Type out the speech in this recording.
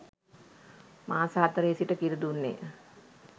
මාස හතරේ සිට කිරි දුන්නේ